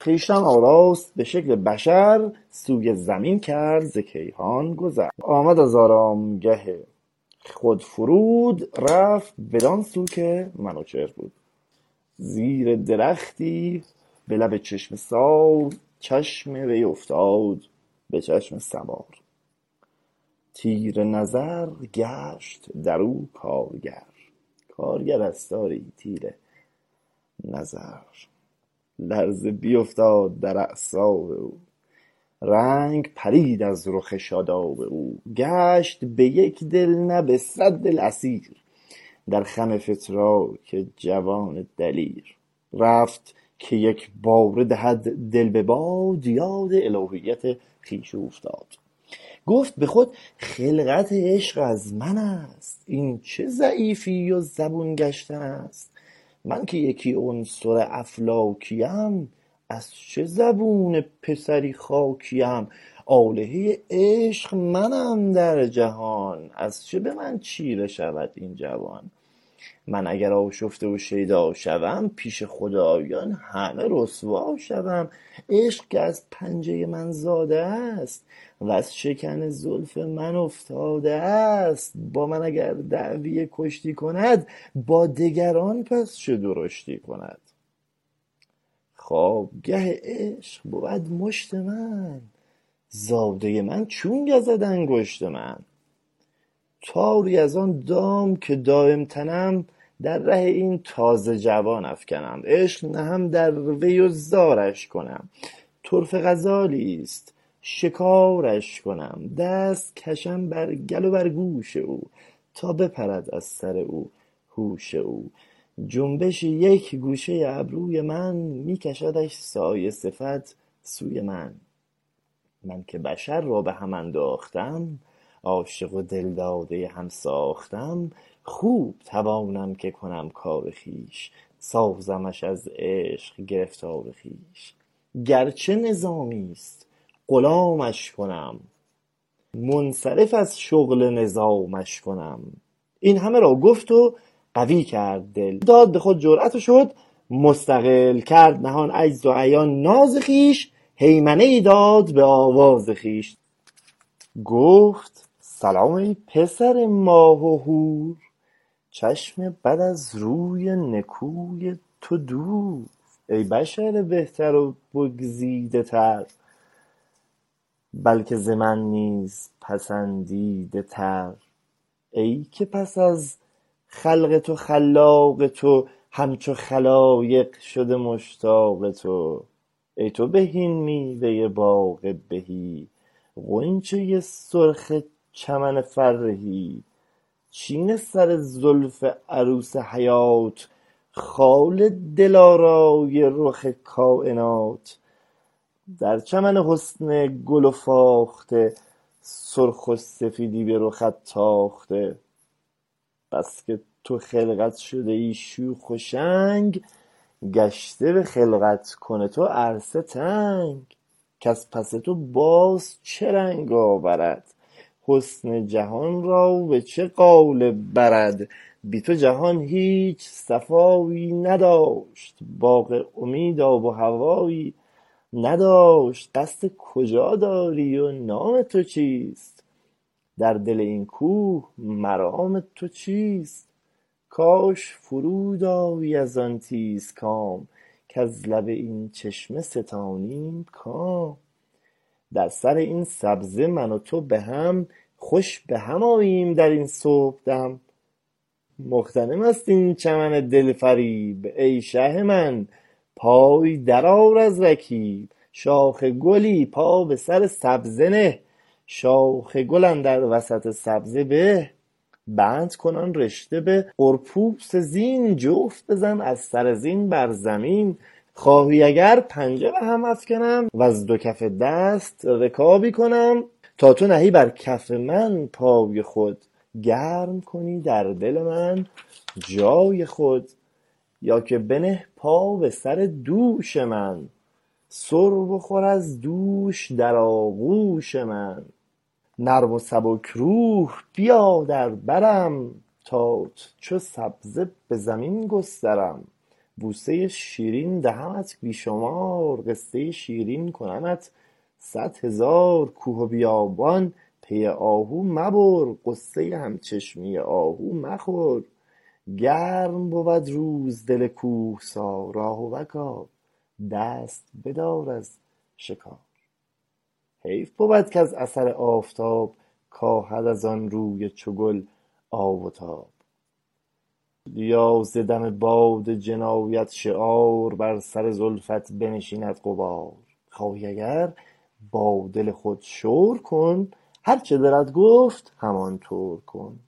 خویشتن آراست به شکل بشر سوی زمین کرد ز کیهان گذر آمد از آرامگه خود فرود رفت بدان سو که منوچهر بود زیر درختی به لب چشمه سار چشم وی افتاد به چشم سوار تیر نظر گشت در او کارگر کارگرست آری تیر نظر لرزه بیفتاد در اعصاب او رنگ پرید از رخ شاداب او گشت به یک دل نه به صد دل اسیر در خم فتراک جوان دلیر رفت که یک باره دهد دل به باد یاد الوهیت خویش اوفتاد گفت به خود خلقت عشق از منست این چه ضعیفی و زبون گشتن است من که یکی عنصر افلاکیم از چه زبون پسری خاکیم آلهۀ عشق منم در جهان از چه به من چیره شود این جوان من اگر آشفته و شیدا شوم پیش خدایان همه رسوا شوم عشق که از پنجۀ من زاده است وز شکن زلف من افتاده است با من اگر دعوی کشتی کند با دگران پس چه درشتی کند خوابگه عشق بود مشت من زادۀ من چون گزد انگشت من تاری از آن دام که دایم تنم در ره این تازه جوان افکنم عشق نهم در وی و زارش کنم طرفه غزالی است شکارش کنم دست کشم بر کل و بر گوش او تا بپرد از سر او هوش او جنبش یک گوشۀ ابروی من می کشدش سایه صفت سوی من من که بشر را به هم انداختم عاشق و دل دادۀ هم ساختم خوب توانم که کنم کار خویش سازمش از عشق گرفتار خویش گرچه نظامی است غلامش کنم منصرف از شغل نظامش کنم این همه را گفت و قوی کرد دل داد به خود جرأت و شد مستقل کرد نهان عجز و عیان ناز خویش هیمنه پی داد به آواز خویش گفت سلام ای پسر ماه و هور چشم بد از روی نکوی تو دور ای ز بشر بهتر و بگزیده تر بلکه ز من نیز پسندیده تر ای که پس از خلق تو خلاق تو همچو خلایق شده مشتاق تو ای تو بهین میوۀ باغ بهی غنچۀ سرخ چمن فرهی چین سر زلف عروس حیات خال دلارای رخ کاینات در چمن حسن گل و فاخته سرخ و سفیدی به رخت تاخته بسکه تو خلقت شدهی شوخ و شنگ گشته به خلقت کن تو عرصه تنگ کز پس تو باز چه رنگ آورد حسن جهان را به چه قالب برد بی تو جهان هیچ صفایی نداشت باغی امید آب و هوایی نداشت قصد کجا داری و نام تو چیست در دل این کوه مرام تو چیست کاش فرود آیی از آن تیز گام کز لب این چشمه ستانیم کام در سر این سبزه من و تو به هم خوش به هم آییم در این صبحدم مغتنم است این چمن دلفریب ای شه من پای در آر از رکیب شاخ گلی پا به سر سبزه نه شاخ گل اندر وسط سبزه به بند کن آن رشه به قربوس زین جفت بزن از سر زین بر زمین خواهی اگر پنجه به هم افکنم ور دو کف دست رکابی کنم تا تو نهی بر کف من پای خود گرم کنی در دل من جای خود یا که بنه پا به سر دوش من سر بخور از دوش در آغوش من نرم و سبک روح بیا در برم تات چو سبزه به زمین گسترم بوسۀ شیرین دهمت بی شمار قصۀ شیرین کنمت صد هزار کوه و بیابان پی آهو مبر غصۀ هم چشمی آهو مخور گرم بود روز دل کوهسار آهوکا دست بدار از شکار حیف بود کز اثر آفتاب کاهد از آن روی چو گل آب و تاب یا ز دم باد جنایت شعار بر سر زلفت بنشیند غبار خواهی اگر با دل خود شور کن هرچه دلت گفت همان طور کن